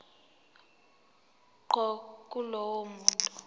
ngqo kulowo muntu